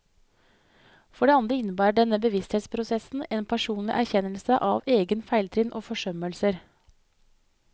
For det andre innebærer denne bevissthetsprosessen en personlig erkjennelse av egne feiltrinn og forsømmelser.